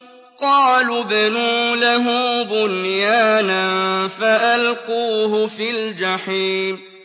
قَالُوا ابْنُوا لَهُ بُنْيَانًا فَأَلْقُوهُ فِي الْجَحِيمِ